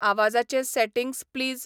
आवाजाचे settings please